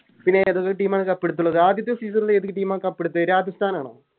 പിന്നെ ഏതൊക്കെ Team ആണ് Cup എടുത്തിള്ളത് ആദ്യത്തെ Season ല് ഏത് Team ആ Cup എടുത്തേ രാജസ്ഥനാണോ